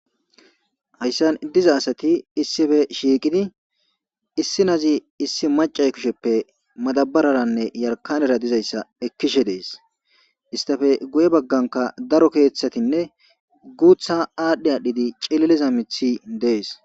Hayssan diza asati issife shiiqidi issi nazi issi macay kisheppe madabararanne yarkanera dizayssa ekkishe dees istafe guye bagganka daro keeththatinne guutha aadhdhi adhdhidi cililiza mithi dees.